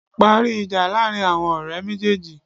Parí ìjà láàrin àwon òrẹ́ méjéèjì